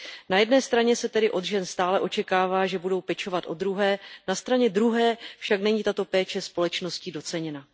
Na jedné straně se tedy od žen stále očekává, že budou pečovat o druhé, na straně druhé však není tato péče společností doceněna.